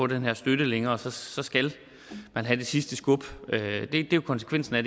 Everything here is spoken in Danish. den her støtte længere så så skal man have det sidste skub det er jo konsekvensen af